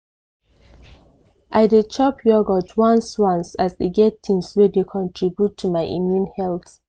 i dey chop yogurt once once as e get things wey dey contribute to my immune health.